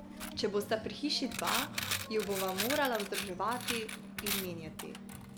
Če bosta pri hiši dva, ju bova morala vzdrževati in menjavati.